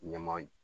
Ɲama